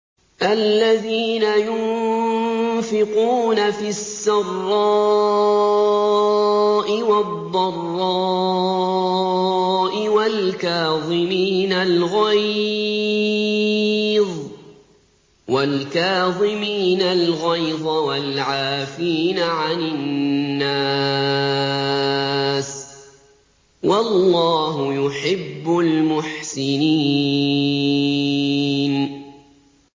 الَّذِينَ يُنفِقُونَ فِي السَّرَّاءِ وَالضَّرَّاءِ وَالْكَاظِمِينَ الْغَيْظَ وَالْعَافِينَ عَنِ النَّاسِ ۗ وَاللَّهُ يُحِبُّ الْمُحْسِنِينَ